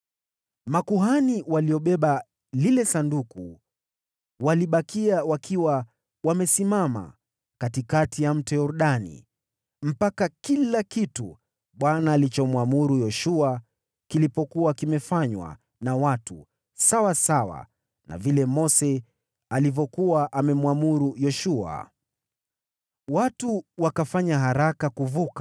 Makuhani waliobeba lile Sanduku walibakia wakiwa wamesimama katikati ya Mto Yordani mpaka kila kitu Bwana alichomwamuru Yoshua kilipokuwa kimefanywa na watu, sawasawa na vile Mose alivyokuwa amemwamuru Yoshua. Watu wakafanya haraka kuvuka,